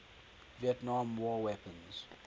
vietnam war weapons